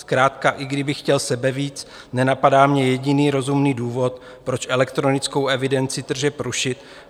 Zkrátka i kdybych chtěl sebevíc, nenapadá mě jediný rozumný důvod, proč elektronickou evidenci tržeb rušit.